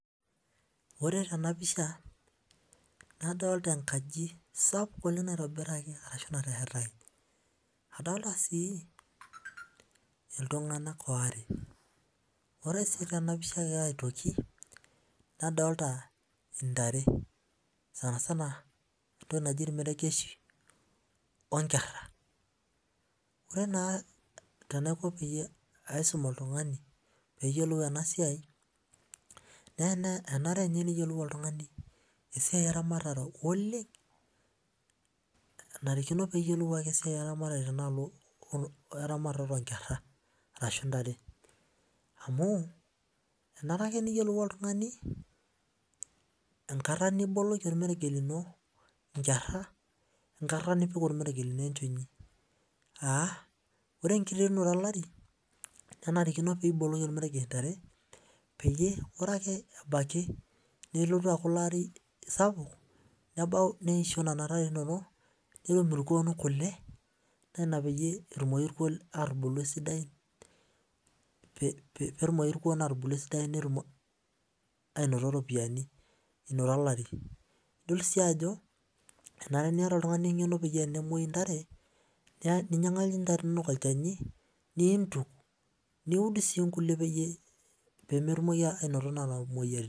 Ore tenapisha nadolita enkaji sapuk naitobiraki ashu nateshetaki adolita si iltunganak are ore si tenapisha aitoki nadolita ntare sanisana entoki naji irmeregeshi onkera ore naa tenaiko paidum oltungani peyiolou enasia na enare peyiolou oltungani esiai eramatare oleng tenaalo onkera arashu ntare anu enare ake neyiolou oltungani enkata niboloki irmeregeshi nkera ashu enkata nipik ormeregesh lino enchoni aa ore enniterunoto olari kenarikino pibololi ormeregesh ntare neisho nona tare inonok netum irkuon kule netum atubulu petumoki irkuon atubulu esidai inoto olari nidol si ajo inoto oltungani engeno metaa ore pemoyu ntare nincho ntare inonok olchani niud peyie pemetumoki ainoto nona moyiaritin